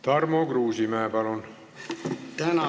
Tarmo Kruusimäe, palun!